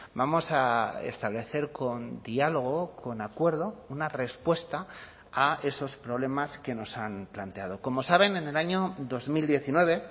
vamos a establecer con diálogo con acuerdo una respuesta a esos problemas que nos han planteado como saben en el año dos mil diecinueve